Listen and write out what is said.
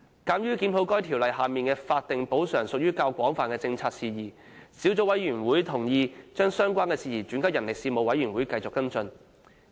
鑒於檢討《條例》下的法定補償屬於較廣泛的政策事宜，小組委員會同意將相關事宜轉交人力事務委員會繼續跟進。